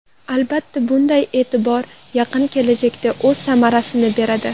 Albatta, bunday e’tibor yaqin kelajakda o‘z samarasini beradi.